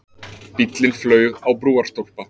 Bíllinn flaug á brúarstólpa